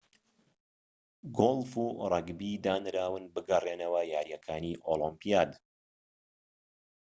گۆلف و رەگبی دانراون بگەڕێنەوە یاریەکانی ئۆلۆمپیاد